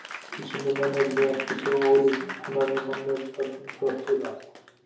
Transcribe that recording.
vísindin eru því ekki svo ólík annarri mannlegri starfsemi þrátt fyrir allt